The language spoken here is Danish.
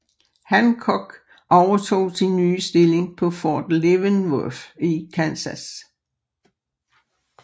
Hancock overtog sin nye stilling på Fort Leavenworth i Kansas